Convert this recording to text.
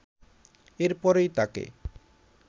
এরপরই তাকে